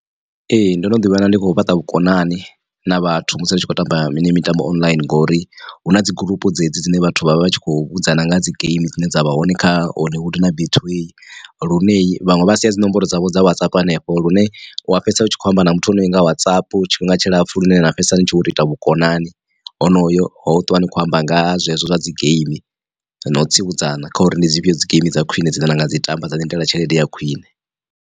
Ee ndono ḓi wana ndi khou fhaṱa vhukonani na vhathu musi ri tshi khou tamba heneyi mitambo online ngori hu na dzi gurupu dzedzi dzine vhathu vha vha vhatshi khou vhudzana nga dzi geimi dzine dza vha hone kha Hollywood na betway. Lune vhaṅwe vha sia dzi nomboro dzavho dza WhatsApp hanefho lune wa fhedzisela u tshi kho amba na muthu honoyo anga WhatsApp tshifhinga tshilapfhu lune na fhedzisela ni tshi vho to ita vhukonani honoyo hoyu ṱuwa ni khou amba nga zwezwo zwa dzi geimi na u tsivhudzana kha uri ndi dzi fhio dzi geimi dza khwiṋe dzine na nga dzi tamba dza lindela tshelede ya khwiṋe.